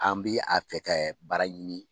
An bɛ a fɛ ka baara ɲini.